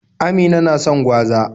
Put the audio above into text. Amina na son gwaza.